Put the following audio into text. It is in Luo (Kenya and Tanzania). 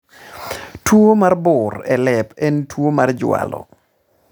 Tuo mar bur e lep en tuo mar jwalo